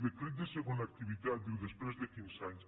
decret de segona activitat diu després de quinze anys